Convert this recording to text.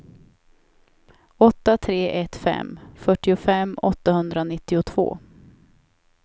åtta tre ett fem fyrtiofem åttahundranittiotvå